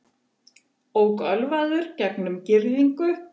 Ók ölvaður gegnum girðingu